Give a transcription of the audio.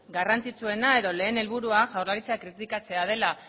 garrantzitsuena edo lehen helburua jaurlaritza kritikatzea dela